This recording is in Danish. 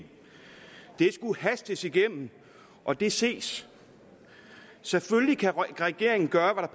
det skulle hastes igennem og det ses selvfølgelig kan regeringen gøre